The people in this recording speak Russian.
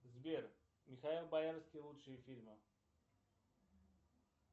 сбер михаил боярский лучшие фильмы